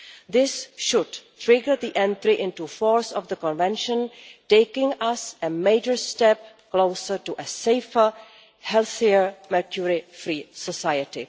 This should trigger the entry into force of the Convention, taking us a major step closer to a safer, healthier mercury free society.